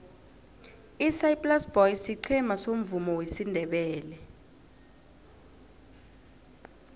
isaai plaas boys siqhema somvumo wesindebele